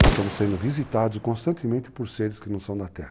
Nós estamos sendo visitados constantemente por seres que não são da terra.